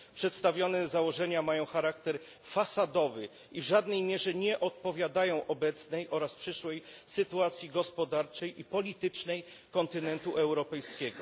Przedstawione założenia mają charakter fasadowy i w żadnej mierze nie odpowiadają obecnej oraz przyszłej sytuacji gospodarczej i politycznej kontynentu europejskiego.